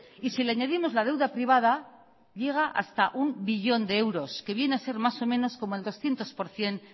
y si le añadimos la deuda privada llega hasta un billón de euros que viene a ser más o menos como el doscientos por ciento